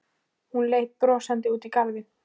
Hún leit brosandi út í garðinn.